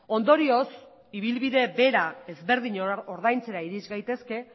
ondorioz ibilbide bera ezberdin ordaintzera iris gaitezke